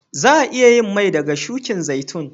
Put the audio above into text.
Za'a iya yin mai daga shukin zaitun.